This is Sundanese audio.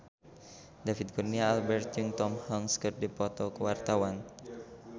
David Kurnia Albert jeung Tom Hanks keur dipoto ku wartawan